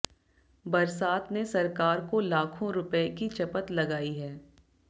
बरसात ने सरकार को लाखों रुपए की चपत लगाई है